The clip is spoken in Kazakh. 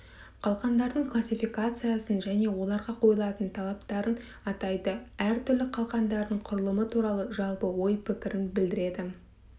қалқандардың классификациясын және оларға қойылатын талаптарын атайды әртүрлі қалқандардың құрылымы туралы жалпы ой-пікірін білдіреді